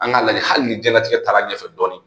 An k'a lajɛ hali ni diɲɛlatigɛ taara ɲɛfɛ dɔɔni